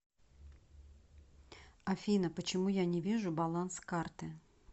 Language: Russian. афина почему я не вижу баланс карты